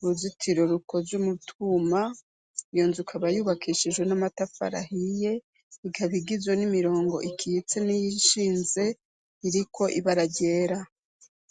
uruzitiro rukoz'umutuma iyo nzuka abayubakishijwe n'amatafarahiye igabigizwe n'imirongo ikitse n'iyoishinze iriko ibararyera.